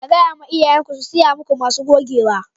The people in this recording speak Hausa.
Ga ya ma iyayen ku su siya maku masu gogewa.